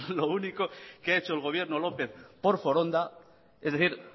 lo único que ha hecho el gobierno lópez por foronda es decir